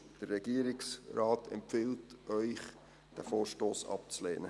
Der Regierungsrat empfiehlt Ihnen, diesen Vorstoss abzulehnen.